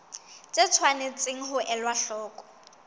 tse tshwanetseng ho elwa hloko